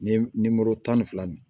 Ni tan ni fila ni